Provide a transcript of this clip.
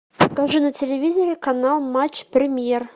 покажи на телевизоре канал матч премьер